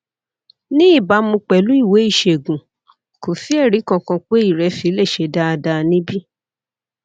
ní ìbámu pẹlú ìwé ìṣègùn kò sí ẹrí kankan pé ìrẹsì lè ṣe dáadáa níbí